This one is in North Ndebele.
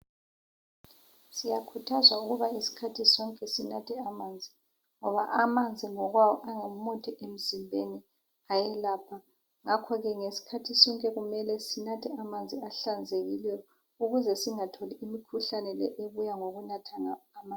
Siyakhuthazwa ukuba isikhathi sonke sinathe amanzi ngoba amanzi ngokwawo angumuthi emzimbeni ayelapha ngakho ke ngesikhathi sonke kumele sinathe amanzi ahlanzekileyo ukuze singatholi imikhuhlane le ebuya ngokunatha amanzi.